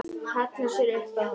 Hallar sér upp að honum.